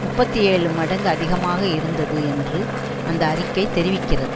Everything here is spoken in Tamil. முப்பத்தி ஏழு மடங்கு அதிகமாக இருந்தது என்று அந்த அறிக்கை தெரிவிக்கிறது